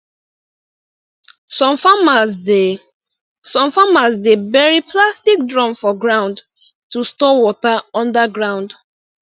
some farmers dey some farmers dey bury plastic drum for ground to store water under ground